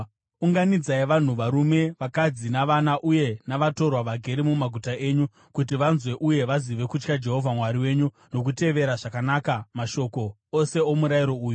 Unganidzai vanhu, varume, vakadzi navana uye navatorwa vagere mumaguta enyu, kuti vanzwe uye vazive kutya Jehovha Mwari wenyu nokutevera zvakanaka mashoko ose omurayiro uyu.